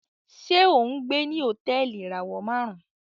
Ṣe o ngbé ní Hotẹẹli ìràwọ márùn?